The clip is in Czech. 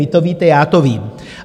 Vy to víte, já to vím.